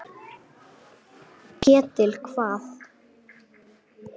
Ketill hvað?